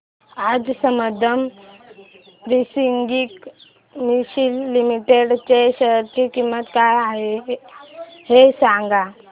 आज Sambandam spinning mills limited च्या share ची किंमत काय आहे हे सांगा